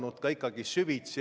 Palun võtta seisukoht ja hääletada!